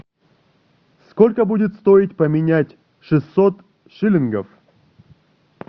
сколько будет стоить поменять шестьсот шиллингов